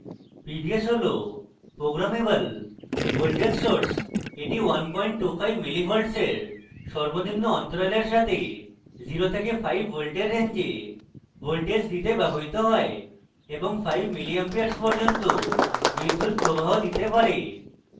pvs হল programmable voltage source এটি 125 mv milli volts এর সর্বনিম্ন অন্তরালের সাথে 05 voltage range voltage দিতে ব্যবহৃত হয় এবং 5 ma milli amps পর্যন্ত বিদ্যুৎপ্রবাহ দিতে পারে